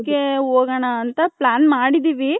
so ಅದಿಕ್ಕೆ ಹೋಗಣ ಅಂತ plan ಮಾಡಿದಿವಿ .